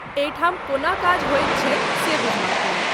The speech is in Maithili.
एहिठाम कोना काज होइत छै से बुझबाक लेल।